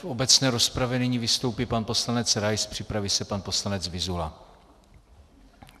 V obecné rozpravě nyní vystoupí pan poslanec Rais, připraví se pan poslanec Vyzula.